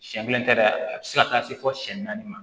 Siɲɛ kelen tɛ dɛ a bi se ka taa se fɔ siyɛn naani ma